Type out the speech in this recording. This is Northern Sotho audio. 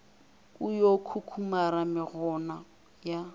o yo kukumara mekgona ya